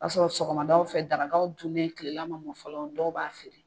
b'a sɔrɔ sɔgɔmadaw fɛ darakaw dunnen kilela man mɔn fɔlɔ dɔw b'a feere.